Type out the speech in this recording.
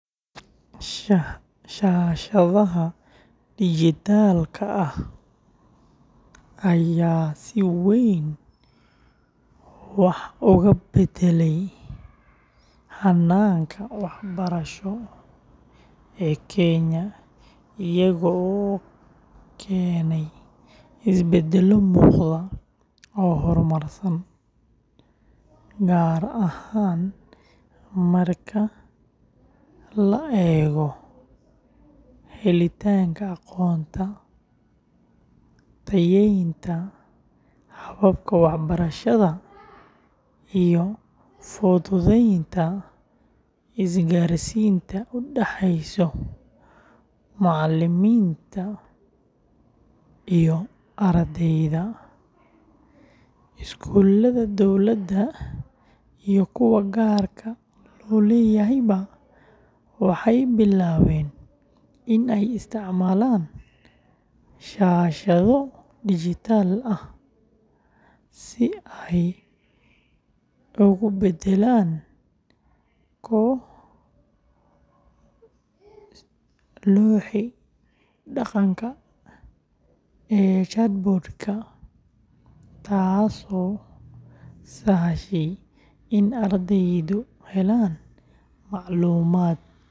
Shaashadaha dhijitaalka ah ayaa si weyn wax uga beddelay hanaanka waxbarasho ee Kenya, iyaga oo keenay isbeddello muuqda oo horumarsan, gaar ahaan marka la eego helitaanka aqoonta, tayeynta hababka waxbarasho, iyo fududeynta isgaarsiinta u dhaxeysa macallimiinta iyo ardayda. Iskuulada dowladda iyo kuwa gaarka loo leeyahayba waxay bilaabeen in ay isticmaalaan shaashado dhijitaal ah si ay ugu beddelaan looxii dhaqanka ee chalkboard-ka, taasoo sahashay in ardaydu helaan macluumaad.